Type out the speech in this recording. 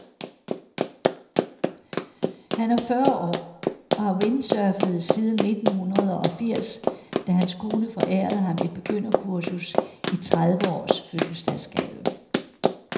Han er fyrre år og har windsurfet siden nittenhundredeogfirs, da hans kone forærede ham et begynderkursus i trediveårs fødselsdagsgave.